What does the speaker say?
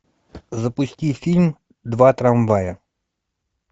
запусти фильм два трамвая